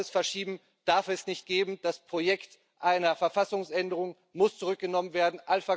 Ein weiteres Verschieben darf es nicht geben, das Projekt einer Verfassungsänderung muss zurückgenommen werden.